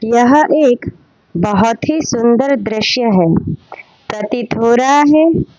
यह एक बहोत ही सुंदर दृश्य है प्रतीत हो रहा है।